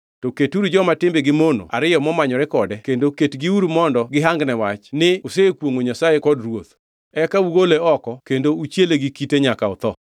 To keturu joma timbegi mono ariyo momanyore kode kendo ketgiuru mondo gihangne wach ni osekwongʼo Nyasaye kod ruoth. Eka ugole oko kendo uchiele gi kite nyaka otho.”